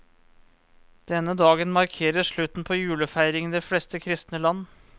Denne dagen markerer slutten på julefeiringen i de fleste kristne land.